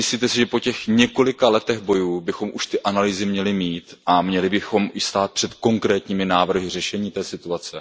Nemyslíte si, že po těch několika letech bojů bychom už ty analýzy měli mít a měli bychom i stát před konkrétními návrhy řešení té situace?